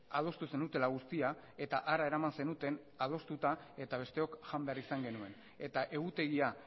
adostu zenutela guztia eta hara eraman zenuten adostuta eta besteok jan behar izan genuen eta egutegia